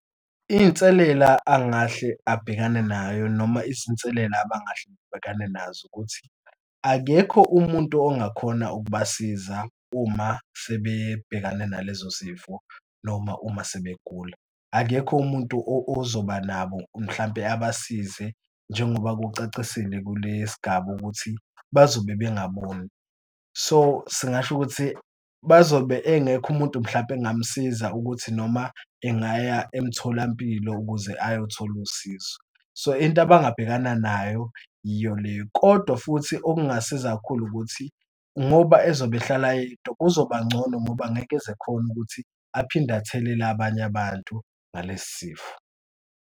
Inselela angahle abhekane nayo noma izinselela abangahle abhekane nazo ukuthi, akekho umuntu ongakhona ukubasiza uma sebebhekane nalezo zifo, noma uma sebegula. Akekho umuntu ozoba nabo mhlampe abasize njengoba kucacisele kule sigaba ukuthi bazobe bengaboni. So singasho ukuthi bazobe engekho umuntu mhlampe engamsiza ukuthi noma engaya emtholampilo ukuze ayothola usizo. So into abangabhekana nayo yiyo leyo. Kodwa futhi okungasiza kakhulu ukuthi ngoba ezobe ehlala yedwa kuzoba ngcono ngoba angeke eze khona ukuthi aphinde athelele abanye abantu ngalesi sifo.